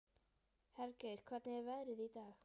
Hergeir, hvernig er veðrið í dag?